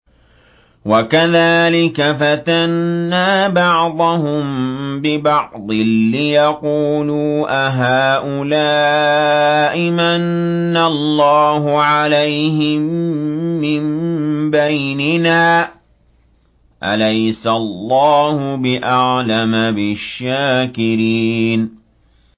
وَكَذَٰلِكَ فَتَنَّا بَعْضَهُم بِبَعْضٍ لِّيَقُولُوا أَهَٰؤُلَاءِ مَنَّ اللَّهُ عَلَيْهِم مِّن بَيْنِنَا ۗ أَلَيْسَ اللَّهُ بِأَعْلَمَ بِالشَّاكِرِينَ